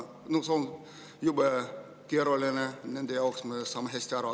See on jube keeruline nende jaoks, me saame sellest hästi aru.